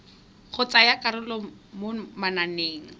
go tsaya karolo mo mananeng